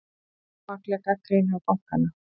Ómakleg gagnrýni á bankana